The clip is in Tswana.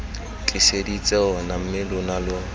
tliseditse ona mme lona lo